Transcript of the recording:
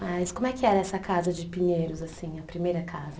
Mas como é que era essa casa de Pinheiros assim, a primeira casa?